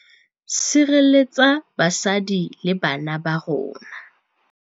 Sirelletsa basadi le bana ba rona.